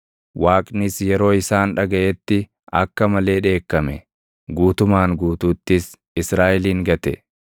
Waaqnis yeroo isaan dhagaʼetti akka malee dheekkame; guutumaan guutuuttis Israaʼelin gate.